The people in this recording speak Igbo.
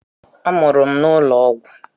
A mụrụ m n'ụlọ ọgwụ.